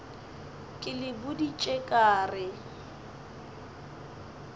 ke le boditše ka re